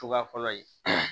Cogoya fɔlɔ ye